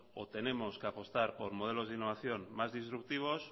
o tenemos que apostar por modelos de innovación más